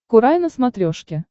курай на смотрешке